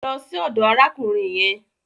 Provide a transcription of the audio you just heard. Lọ sí ọdọ̀ arákùnrin yẹn.